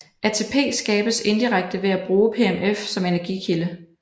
ATP skabes indirekte ved at bruge PMF som energikilde